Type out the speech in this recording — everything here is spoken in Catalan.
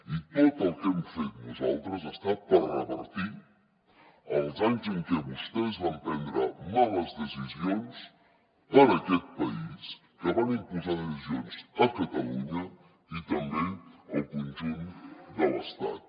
i tot el que hem fet nosaltres ha estat per revertir els anys en què vostès van prendre males decisions per a aquest país que van imposar decisions a catalunya i també al conjunt de l’estat